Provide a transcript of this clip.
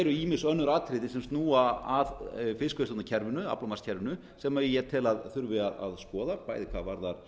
ýmis önnur atriði sem snúa að fiskveiðistjórnarkerfinu aflamarkskerfinu sem ég tel að þurfi að skoða bæði hvað varðar